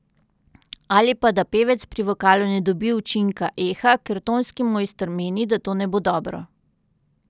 Ali pa da pevec pri vokalu ne dobi učinka eha, ker tonski mojster meni, da to ne bo dobro.